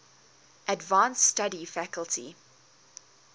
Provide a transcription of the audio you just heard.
advanced study faculty